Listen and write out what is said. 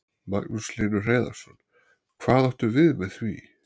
Magnús Hlynur Hreiðarsson: Hvað áttu við með því?